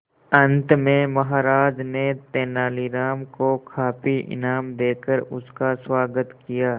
अंत में महाराज ने तेनालीराम को काफी इनाम देकर उसका स्वागत किया